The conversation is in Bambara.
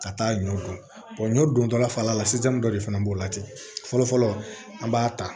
Ka taa ɲɔ kɔ ɲɔ dontɔla fara la sisan dɔ de fana b'o la ten fɔlɔ fɔlɔ an b'a ta